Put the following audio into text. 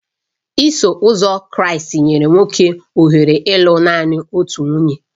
Iso Ụzọ Kraịst nyere nwoke ohere ịlụ nanị otu nwunye